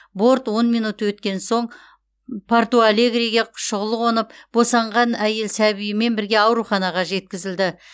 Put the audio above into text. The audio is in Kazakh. борт он минут өткен соң порту алегриге шұғыл қонып босанған әйел сәбиімен бірге ауруханаға жеткізілді